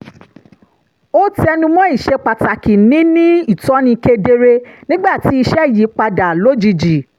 ó tẹnumọ́ ìṣepàtàkì níní ìtọ́ni kedere nígbà tí iṣẹ́ yí padà lójijì